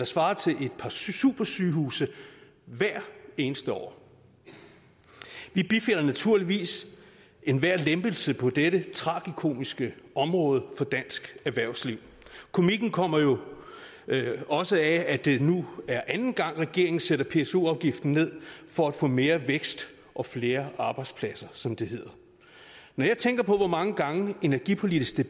svarer til et par supersygehuse hvert eneste år vi bifalder naturligvis enhver lempelse på dette tragikomiske område for dansk erhvervsliv komikken kommer jo også af at det nu er anden gang regeringen sætter pso afgiften ned for at få mere vækst og flere arbejdspladser som det hedder når jeg tænker på hvor mange gange energipolitiske